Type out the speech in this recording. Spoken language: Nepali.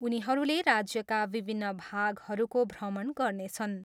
उनीहरूले राज्यका विभिन्न भागहरूको भ्रमण गर्नेछन्।